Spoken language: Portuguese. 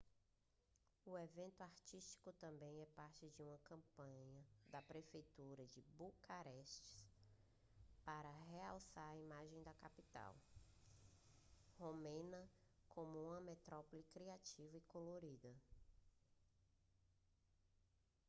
o evento artístico também é parte de uma campanha da prefeitura de bucareste para relançar a imagem da capital romena como uma metrópole criativa e colorida